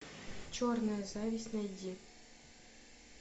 черная зависть найди